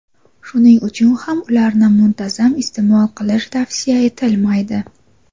Shuning uchun ham ularni muntazam iste’mol qilish tavsiya etilmaydi.